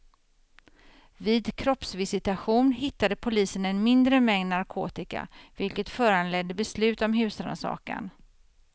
Vid kroppsvisitation hittade polisen en mindre mängd narkotika, vilket föranledde beslut om husrannsakan.